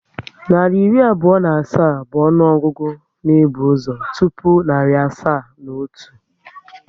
Narị iri abụọ na asaa bụ ọnụọgụgụ na ebu ụzọ tụpụ narị asaa na otu